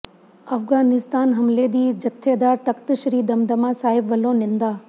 ਅਫਗਾਨਿਸਤਾਨ ਹਮਲੇ ਦੀ ਜਥੇਦਾਰ ਤਖ਼ਤ ਸ੍ਰੀ ਦਮਦਮਾ ਸਾਹਿਬ ਵੱਲੋਂ ਨਿੰਦਾ